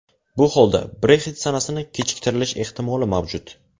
Bu holda, Brexit sanasini kechiktirilish ehtimoli mavjud.